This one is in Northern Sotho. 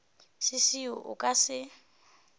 se seo a ka se